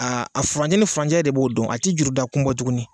a furanjɛ ni furancɛ e de b'o dɔn a ti juruda kun bɔ tuguni.